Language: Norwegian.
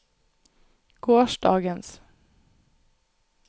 gårsdagens